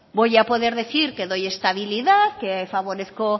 voy a poder decir que doy estabilidad que favorezco